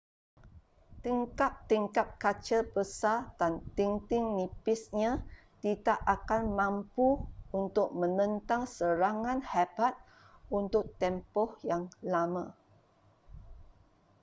tingkap-tingkap kaca besar dan dinding nipisnya tidak akan mampu untuk menentang serangan hebat untuk tempoh yang lama